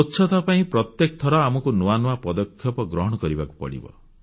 ସ୍ୱଚ୍ଛତା ପାଇଁ ପ୍ରତ୍ୟେକ ଥର ଆମକୁ ନୂଆ ନୂଆ ପଦକ୍ଷେପ ଗ୍ରହଣ କରିବାକୁ ପଡ଼ିବ